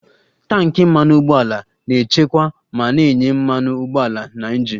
Tanki Mmanụ ụgbọala na-echekwa ma na-enye mmanụ ụgbọala na injin